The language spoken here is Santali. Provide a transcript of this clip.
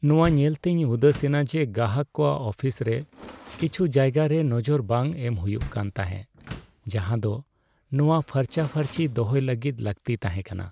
ᱱᱚᱶᱟ ᱧᱮᱞᱛᱮᱧ ᱩᱫᱟᱹᱥᱮᱱᱟ ᱡᱮ ᱜᱟᱦᱟᱠ ᱠᱚᱣᱟᱜ ᱚᱯᱷᱤᱥ ᱨᱮ ᱠᱤᱪᱷᱩ ᱡᱟᱭᱜᱟᱨᱮ ᱱᱚᱡᱚᱨ ᱵᱟᱝ ᱮᱢ ᱦᱩᱭᱩᱜ ᱠᱟᱱ ᱛᱟᱦᱮᱸᱜ ᱡᱟᱦᱟᱸᱫᱚ ᱱᱚᱶᱟ ᱯᱷᱟᱨᱪᱟ ᱯᱷᱟᱹᱨᱪᱤ ᱫᱚᱦᱚᱭ ᱞᱟᱹᱜᱤᱫ ᱞᱟᱹᱠᱛᱤᱭᱛᱟᱦᱮᱸᱠᱟᱱᱟ ᱾